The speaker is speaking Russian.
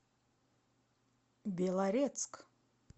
белорецк